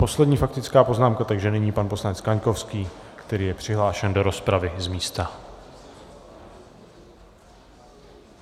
Poslední faktická poznámka, takže nyní pan poslanec Kaňkovský, který je přihlášen do rozpravy z místa.